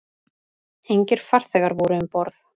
Engir farþegar voru um borð